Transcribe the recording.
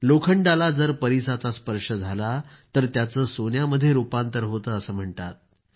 लोखंडाला जर परिसाच्या स्पर्श झाला तर त्याचं सोन्यामध्ये रूपांतर होतं असं म्हणतात